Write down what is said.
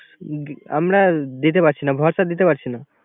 আমরা দিতে পারিছি না খড়টা দিতে পারছিনা